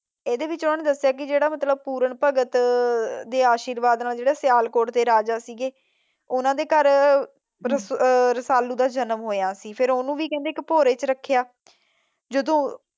ਇਹਦੇ ਵਿੱਚ ਉਹਨੇ ਦੱਸਿਆ ਕੀ ਜਿਹੜਾ ਮਤਲਬ ਪੁਰਨ ਭਗਤ ਦੇ ਆਸ਼ਿਰਵਾਦ ਨਾਲ ਜਿਹੜੇ ਸਿਆਲ ਕੋਟ ਦੇ ਰਾਜਾ ਸੀਗੇ ਉਹਨਾਂ ਦੇ ਘਰ ਰਸਾਲੂ ਦਾ ਜਨਮ ਹੋਇਆ ਸੀ। ਫਿਰ ਉਹਨੂੰ ਵੀ ਕਹਿੰਦੇ ਇੱਕ ਭੋਰੇ ਚ ਰੱਖਿਆ ।